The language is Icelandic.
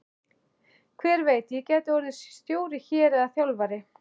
Hver veit, ég gæti orðið stjóri hér eða þjálfari?